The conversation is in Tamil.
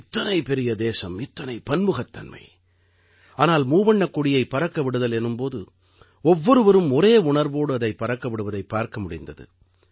இத்தனை பெரிய தேசம் இத்தனை பன்முகத்தன்மை ஆனால் மூவண்ணக் கொடியைப் பறக்க விடுதல் எனும் போது ஒவ்வொருவரும் ஒரே உணர்வோடு அதைப் பறக்க விடுவதைப் பார்க்க முடிந்தது